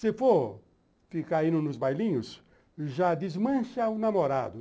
Se você for ficar indo nos bailinhos, já desmancha o namorado.